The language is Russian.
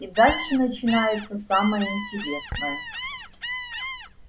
и дальше начинается самое интересное